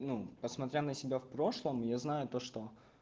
ну посмотря на себя в прошлом я знаю то что